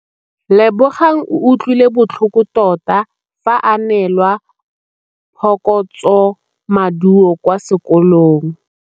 Lebogang o utlwile botlhoko tota fa a neelwa phokotsômaduô kwa sekolong.